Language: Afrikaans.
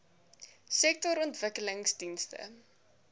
sektorontwikkelingdienste